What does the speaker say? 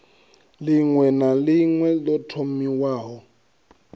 ḽiṅwe na ḽiṅwe ḓo thomiwaho